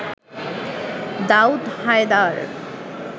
Daud Haider